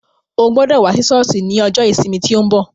Ó gbọ́dọ̀ wá sí sọ́ọ̀sì ní ọjọ́ ìsinmi tí ó ń bọ̀.